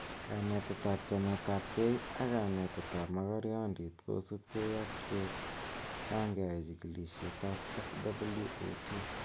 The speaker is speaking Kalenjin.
kanatet ab chamet ab gei ak kanetet ab mokornondit kosubgei ak ye kangeai chekilishet ab SWOT.